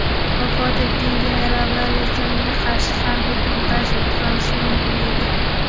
Vafot etgan generallar esa unga qarshi harbiy to‘ntarish o‘tqazishi mumkin edi.